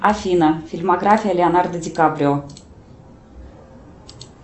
афина фильмография леонардо ди каприо